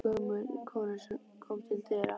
Pabbi bankaði og gömul kona kom til dyra.